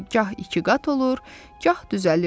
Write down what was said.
Gah iki qat olur, gah düzəlirdi.